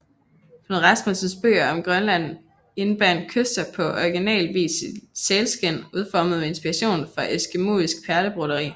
Knud Rasmussens bøger om Grønland indbandt Kyster på original vis i sælskind udformet med inspiration fra eskimoisk perlebroderi